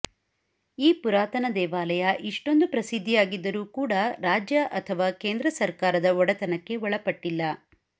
ಈ ಪುರಾತನ ದೇವಾಲಯ ಇಷ್ಟೊಂದು ಪ್ರಸಿದ್ಧಿಯಾಗಿದ್ದರೂ ಕೂಡ ರಾಜ್ಯ ಅಥವಾ ಕೇಂದ್ರ ಸರ್ಕಾರದ ಒಡೆತನಕ್ಕೆ ಒಳಪಟ್ಟಿಲ್ಲ